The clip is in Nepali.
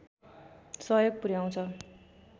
सहयोग पुर्‍याउँछ